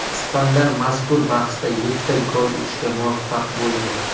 Ispanlar mazkur bahsda yettita gol urishga muvaffaq bo‘ldi.